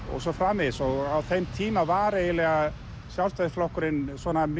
og svo framvegis á þeim tíma var eiginlega Sjálfstæðisflokkurinn